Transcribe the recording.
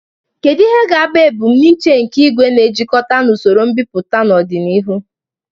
Kedu ihe ga-abụ ebumnuche nke igwe na-ejikọta na usoro mbipụta n'ọdịnihu?